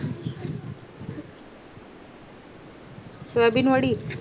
soybean Wadi